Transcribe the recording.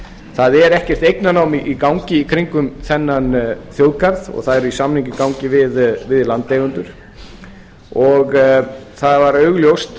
það er ekkert eignarnám í gangi í kringum þennan þjóðgarð og það er samningur í gangi við landeigendur það var augljóst